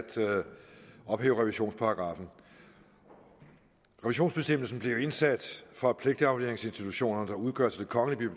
ophæve revisionsparagraffen revisionsbestemmelsen blev jo indsat for at pligtafleveringsinstitutionerne der udgøres af det kongelige